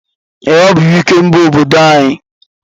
Ee, ọ bụ Ikemba obodo anyị.